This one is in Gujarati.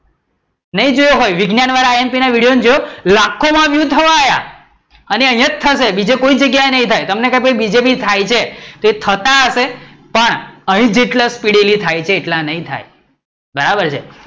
નઈ જોયો હોય, વિજ્ઞાન વાળા imp વાળા વિડિઓ જોયો? લાખો માં view થવા આયા અને અહીંયા જ થશે બીજે કોઈ જગ્યા એ નય થાય તમને કે બીજે બી થાય છે એ થતા હશે પણ અહીં જેટલા speedily થાય છે એટલા નઈ થાય, બરાબર છે